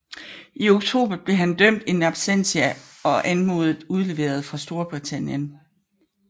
I oktober blev han dømt in absentia og anmodet udleveret fra Storibtitanien